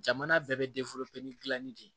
Jamana bɛɛ bɛ gilanni de ye